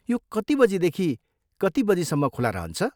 यो कति बजीदेखि कति बजीसम्म खुला रहन्छ?